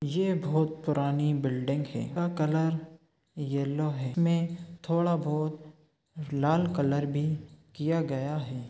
यह बहुत पुरानी बिल्डिंग है इनका कलर येलो है में थोड़ा बहुत लाल कलर भी किया गया हैं।